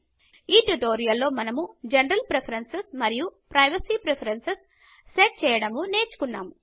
ఈ ట్యుటోరియల్లో మనము జనరల్ ప్రిఫరెన్సెస్ మరియు ప్రైవసీ ప్రిఫరెన్సెస్ సెట్ చేయడము నేర్చుకున్నాము